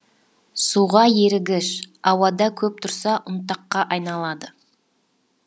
суға ерігіш ауада көп тұрса ұнтаққа айналады